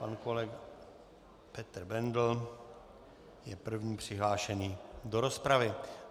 Pan kolega Petr Bendl je první přihlášený do rozpravy.